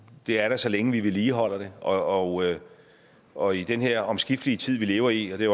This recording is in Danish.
det er der så længe vi vedligeholder det og og i den her omskiftelige tid vi lever i og det